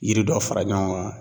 Yiri dɔ fara ɲɔgɔn kan